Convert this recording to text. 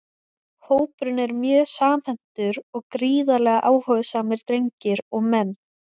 Hópurinn er mjög samhentur og gríðarlega áhugasamir drengir og menn!